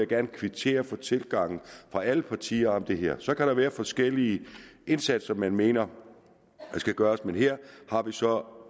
gerne kvittere for den tilgang alle partier har til det her så kan der være forskellige indsatser man mener der skal gøres men her har vi så